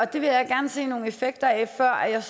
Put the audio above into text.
det vil jeg gerne se nogle effekter af før jeg